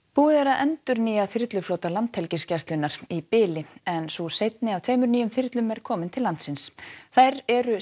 búið er að endurnýja þyrluflota Landhelgisgæslunnar í bili en sú seinni af tveimur nýjum þyrlum er komin til landsins þær eru